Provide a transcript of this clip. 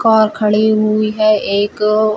और खड़ी हुई है एक --